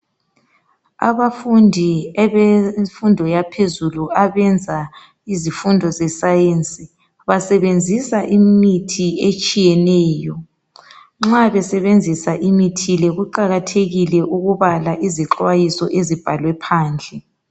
Abafundi abemfunfo yaphezulu. Abezemfundo yaphezulu. Abenza imfundo yeScience. Basebenzisa imithi etshiyeneyo. Nxa besebenzisa imithimle, kuqajathekile ukubala izixwayiso ezibhalwe phandle.